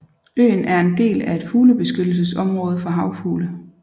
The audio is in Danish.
Øen er en del af et fuglebeskyttelsesområde for havfugle